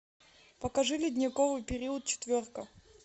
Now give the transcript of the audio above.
покажи ледниковый период четверка